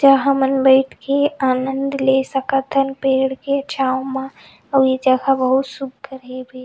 जहाँ हमन बइठ के आनंद ले सकत हन पेड़ के छाव म ये जगह बहुत सुंदर हे भी--